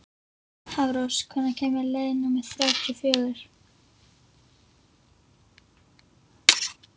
Hafrós, hvenær kemur leið númer þrjátíu og fjögur?